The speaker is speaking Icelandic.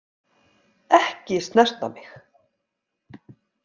Ekki snerta mig.